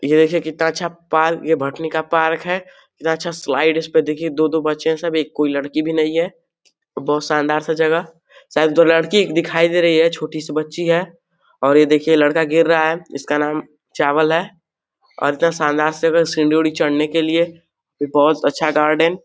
ये देखिए कितना अच्छा पार्क ये भटनी का पार्क है। कितना अच्छा स्लाईड इसपे देखिये दो दो बच्चे है सब एक कोई लड़की भी नहीं है। बहुत शानदार सजेगा। शायद जो लड़की दिखाई दे रही है छोटी सी बच्ची है और ये देखिये लड़का गिर रहा है इसका नाम चावल है और क्या शानदार सीढ़ी ओढ़ी चढ़ने के लिए ये बहोत अच्छा गार्डन --